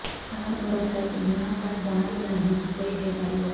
ସାର ମୋର ହେଲ୍ଥ ବୀମା କାର୍ଡ ବଣାଇନାହିଁ କିପରି ହୈ ପାରିବ